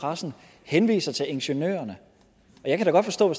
pressen henviser til ingeniørerne og jeg kan da godt forstå